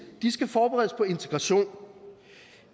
skal forberedes på integration